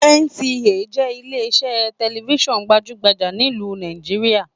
NTA jẹ ilè iṣẹ tẹlifísàn gbajugbaja nílu Nàìjíríà.